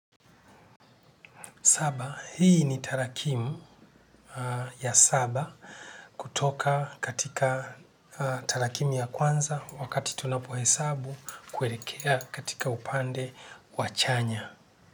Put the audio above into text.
Saba, hii ni tarakimu ya saba kutoka katika tarakimu ya kwanza wakati tunapo wesabu kuerekea katika upande wachanya.